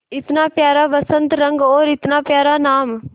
इतना प्यारा बसंती रंग और इतना प्यारा नाम